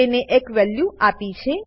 અને તેને એક વેલ્યુ આપી છે